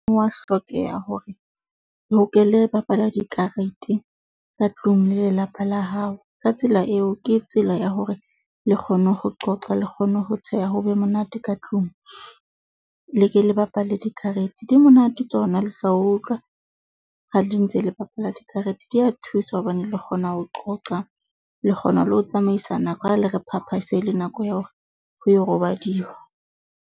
Wa hlokeha hore bapala dikarete ka tlung le lelapa la hao. Ka tsela eo, ke tsela ya hore le kgone ho qoqa le kgone ho tsheha. Ho be monate ka tlung, le ke le bapale dikarete. Di monate tsona le tla utlwa ha ntse le bapala dikarete di ya thusa hobane le kgona ho qoqa le kgona le ho tsamaisa nako ha le re pha pha, e sele nako ya hore ho yo robadiwa.